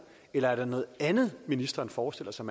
eller er der noget andet ministeren forestiller sig